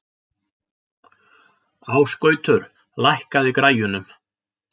Ásgautur, lækkaðu í græjunum.